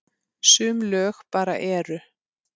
Sum lög bara eru.